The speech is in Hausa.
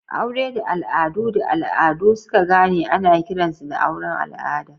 Aure da al'adu da al'adu suka gane ana kiransu da auren al'ada.